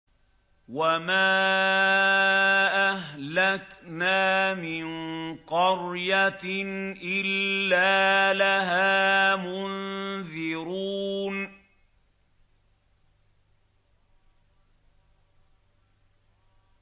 وَمَا أَهْلَكْنَا مِن قَرْيَةٍ إِلَّا لَهَا مُنذِرُونَ